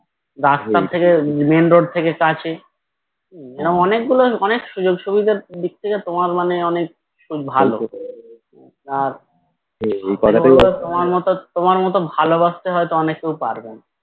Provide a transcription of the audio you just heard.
রাস্তা থেকে Main road থেকে কাছে মানে অনেকগুলো অনেক সুযোগ সুবিধার দিক থেকে মানে তোমার ভালো তোমার মত তোমার মত ভালো বাঁচতে হয়তো অনেকেই পারবেনা